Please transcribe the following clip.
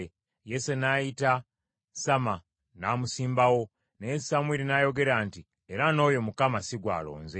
Yese n’ayita Samma n’amusimbawo, naye Samwiri n’ayogera nti, “Era n’oyo Mukama si gw’alonze.”